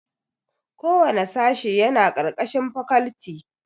Kowanne sashe yana ƙarƙashin fakalti